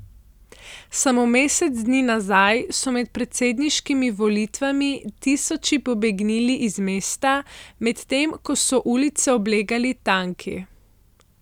Samo mesec dni nazaj so med predsedniškimi volitvami tisoči pobegnili iz mesta, medtem ko so ulice oblegali tanki.